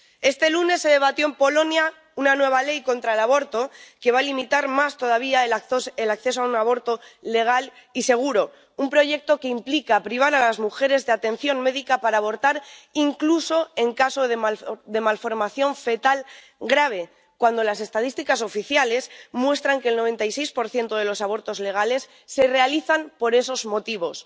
Este lunes se debatió en Polonia una nueva ley contra el aborto, que va a limitar más todavía el acceso a un aborto legal y seguro un proyecto que implica privar a las mujeres de atención médica para abortar, incluso en caso de malformación fetal grave, cuando las estadísticas oficiales muestran que el 96 de los abortos legales se realiza por esos motivos.